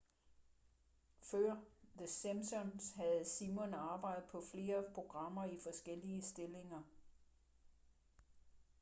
før the simpsons havde simon arbejdet på flere programmer i forskellige stillinger